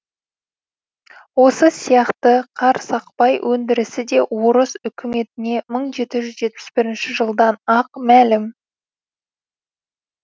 осы сияқты қарсақпай өндірісі де орыс өкіметіне мың жеті жүз жетпіс бірінші жылдан ақ мәлім